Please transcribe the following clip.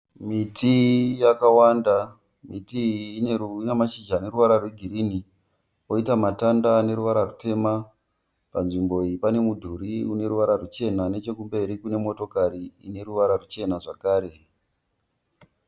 Miti yakawanda. Miti iyi ine mashizha aneruvara rwegirini. Poita matanda aneruvara rutema. Panzvimbo iyi pane mudhuri uneruvara ruchena. Nechekumberi kune motokari ineruvara ruchena zvakare.